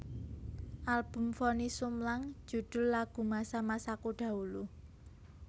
Album Vonny Sumlang judul lagu Masa masaku dahulu